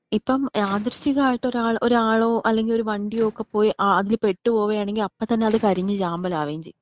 ഇപ്പം യാദൃശ്ചികം ആയിട്ട് ഒരാൾ ഒരാളോ അല്ലെങ്കി ഒരു വണ്ടിയൊക്കെ പോയി അതിൽ പെട്ടു പോവാണെങ്കി അപ്പൊ തന്നെ അത് കരിഞ്ഞ് ചാമ്പലാവേം ചെയ്യും.